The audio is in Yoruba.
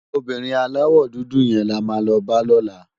Óbìrín àláwò dúdú yèn làmá lò bá lòlá